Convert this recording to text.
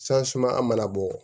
an mana bɔ